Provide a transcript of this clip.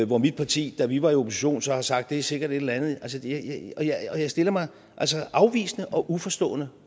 hvor mit parti da vi var i opposition så har sagt er sikkert et eller andet jeg stiller mig afvisende og uforstående